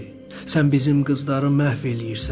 Sən bizim qızları məhv eləyirsən.